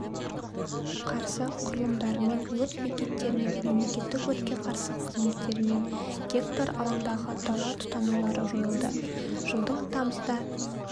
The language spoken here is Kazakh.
қарсы құрылымдарымен өрт бекеттерімен мемлекеттік өртке қарсы қызметтерімен гектар алаңдағы дала тұтанулары жойылды жылдың тамызда